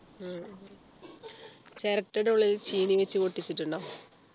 ഉം ചിരട്ടയുടെ ഉള്ളിൽ ചീനി വെച്ചു പൊട്ടിച്ചിട്ടുണ്ടോ